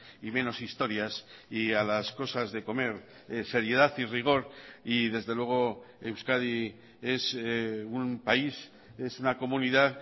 y menos historias y a las cosas de comer seriedad y rigor y desde luego euskadi es un país es una comunidad